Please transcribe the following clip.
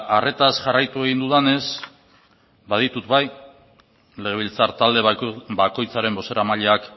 arretaz jarraitu egin dudanez baditut bai legebiltzar talde bakoitzaren bozeramaileak